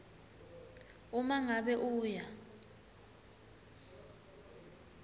uma ngabe uya